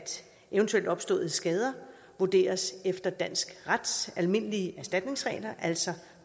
eventuelt opståede skader vurderes efter dansk rets almindelige erstatningsregler altså